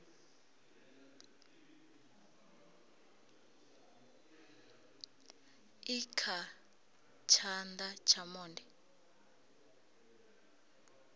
i kha tshana tsha monde